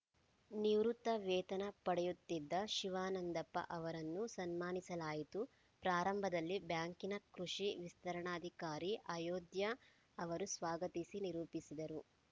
ನಿವೃತ್ತ ವೇತನ ಪಡೆಯುತ್ತಿದ್ದ ಶಿವಾನಂದಪ್ಪ ಅವರನ್ನು ಸನ್ಮಾನಿಸಲಾಯಿತು ಪ್ರಾರಂಭದಲ್ಲಿ ಬ್ಯಾಂಕಿನ ಕೃಷಿ ವಿಸ್ತರಣಾಧಿಕಾರಿ ಅಯೋಧ್ಯಾ ಅವರು ಸ್ವಾಗತಿಸಿ ನಿರೂಪಿಸಿದರು